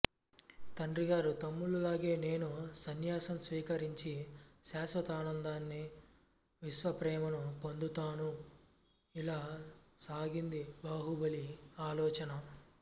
తండ్రిగారు తమ్ముళ్ళ లాగే నేనూ సన్యాసం స్వీకరించి శాశ్వితానందాన్ని విశ్వప్రేమను పొందుతాను ఇలా సాగింది బాహుబలి ఆలోచన